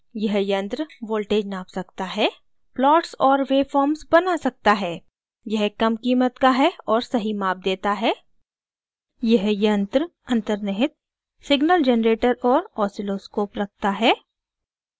यह यंत्र voltages नाप सकता है plots और वेवफॉर्म्स बना सकता है